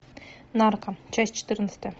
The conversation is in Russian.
нарко часть четырнадцатая